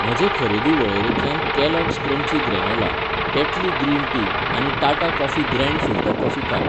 म्हजे खरेदी वळेरेंतल्यान Kellogg's crunchy granola, Tetley green tea आनी Tata coffee grand filter coffee काड.